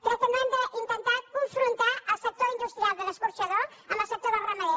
crec que no hem d’intentar confrontar el sector industrial de l’escorxador amb el sector del ramader